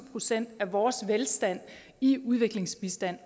procent af vores velstand i udviklingsbistand